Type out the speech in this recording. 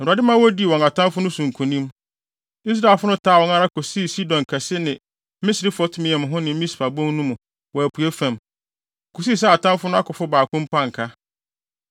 Na Awurade ma wodii wɔn atamfo no so nkonim. Israelfo no taa wɔn ara kosii Sidon Kɛse ne Misrefot-Maim ho ne Mispa Bon no mu wɔ apuei fam, kosii sɛ atamfo no akofo baako mpo anka.